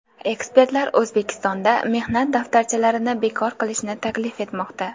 Ekspertlar O‘zbekistonda mehnat daftarchalarini bekor qilishni taklif etmoqda .